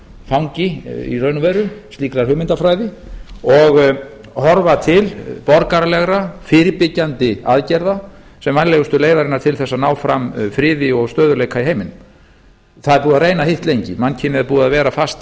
fangi í raun og veru slíkrar hugmyndafræði og horfa til borgaralegra fyrirbyggjandi aðgerða sem vænlegustu leiðarinnar til þess að ná fram friði og stöðugleika í heiminum það er búið að reyna hitt lengi mannkynið er búið að vera fast